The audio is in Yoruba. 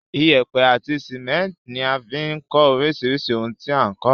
Iyẹ́pẹ́ àti cement ní a fi n kó orísirísì oun ti a n kó